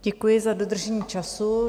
Děkuji za dodržení času.